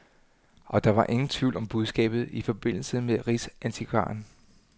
Og der var ingen tvivl om budskabet i forbindelse med rigsantikvaren.